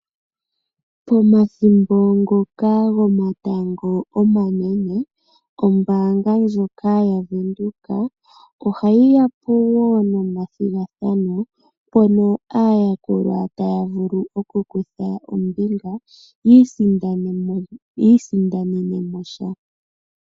Pomathimbo ngoka gomatango omanene ombaanga ndjoka yaWindhoek ohayi yapo woo nomathigathano mono aayakulwa taya vulu okukutha ombinga yo yiisindanene mo sha.